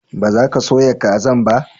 ba za ka soya kazan ba?